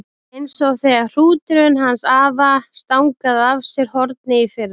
Eins og þegar hrúturinn hans afa stangaði af sér hornið í fyrra.